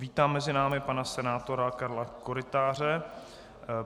Vítám mezi námi pana senátora Karla Korytáře.